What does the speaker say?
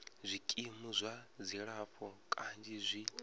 zwikimu zwa dzilafho kanzhi zwi